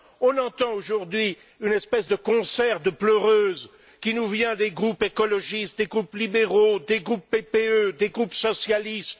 On entend aujourd'hui une espèce de concert de pleureuses qui nous vient des groupes écologistes, des groupes libéraux, des groupes PPE, des groupes socialistes.